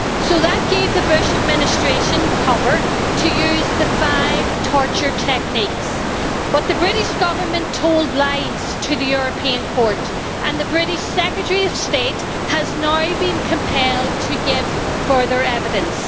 So that gave the Bush administration cover' to use the five torture techniques. But the British Government told lies to the European Court and the British Secretary of State has now been compelled to give further evidence.